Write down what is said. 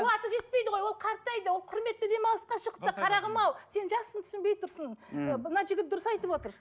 қуаты жетпейді ғой ол қартайды ол құрметті демалысқа шықты қарағым ау сен жассың түсінбей тұрсың мхм мына жігіт дұрыс айтып отыр